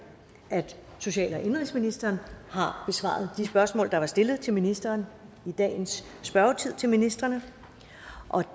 at social og indenrigsministeren har besvaret de spørgsmål der var stillet til ministeren i dagens spørgetid til ministrene